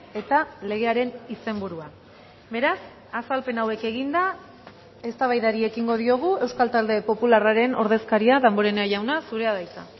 eta legearen izenburua beraz azalpen hauek eginda eztabaidari ekingo diogu euskal talde popularraren ordezkaria damborenea jauna zurea da hitza